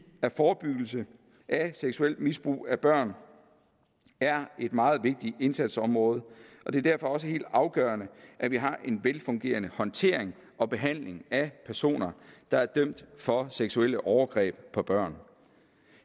at forebyggelse af seksuelt misbrug af børn er et meget vigtigt indsatsområde det er derfor også helt afgørende at vi har en velfungerende håndtering og behandling af personer der er dømt for seksuelle overgreb på børn